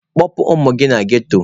Kpọpụ ụmụ gị na ghetto!.